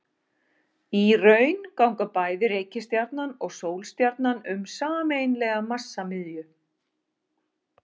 Í raun ganga bæði reikistjarnan og sólstjarnan um sameiginlega massamiðju.